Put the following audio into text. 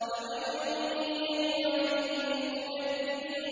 فَوَيْلٌ يَوْمَئِذٍ لِّلْمُكَذِّبِينَ